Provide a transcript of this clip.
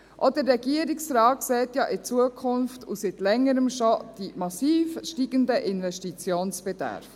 Auch der Regierungsrat sieht ja in die Zukunft und schon seit Längerem die massiv steigenden Investitionsbedarfe.